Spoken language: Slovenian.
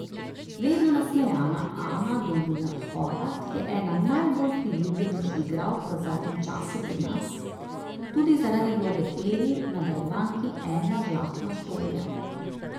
Vedno nasmejana Ana Dolinar Horvat je ena najbolj priljubljenih igralk v zadnjem času pri nas, tudi zaradi vloge Eli v nadaljevanki Ena žlahtna štorija.